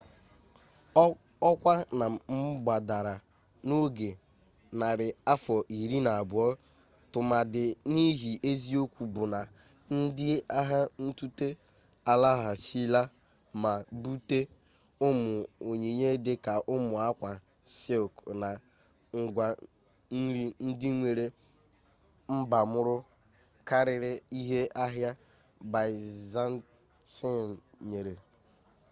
ọkwa na gbadara n'oge narị afọ iri na abụọ tụmadị n'ihi eziokwu bụ na ndị agha ntute alaghachila ma bute ụmụ onyinye dị ka ụmụ akwa sịlk na ngwa nri ndị nwere mbamuru karịrị ihe ahịa byzantine nyere